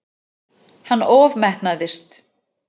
Hann ofmetnaðist.